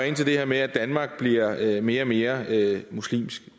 ind til det her med at danmark bliver mere og mere muslimsk